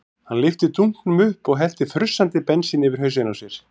Hann lyfti dunknum upp og hellti frussandi bensíni yfir hausinn á sér.